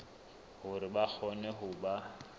hore ba kgone ho ba